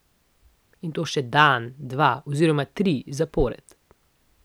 In to še dan, dva oziroma tri zapored.